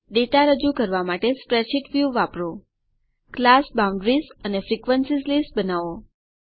data રજુ કરવા માટે સ્પ્રેડશીટ વ્યુ વાપરો ક્લાસ બાઉન્ડરીઝ અને ફ્રીક્વેન્સીઝ લિસ્ટ બનાવો